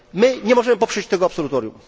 My nie możemy poprzeć tego absolutorium.